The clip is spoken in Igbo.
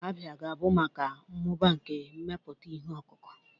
Abia ga-ahụ maka mmụba nke mmepụta ihe ọkụkụ.